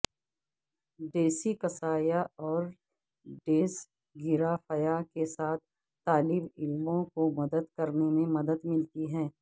dyslexia اور dysgraphia کے ساتھ طالب علموں کو مدد کرنے میں مدد ملتی ہے